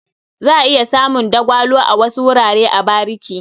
Za a iya samun dagwalo a wasu wurare a bariki.